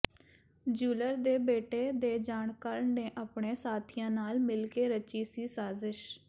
jeweller ਦੇ ਬੇਟੇ ਦੇ ਜਾਣਕਾਰ ਨੇ ਆਪਣੇ ਸਾਥੀਆਂ ਨਾਲ ਮਿਲ ਕੇ ਰਚੀ ਸੀ ਸਾਜ਼ਿਸ਼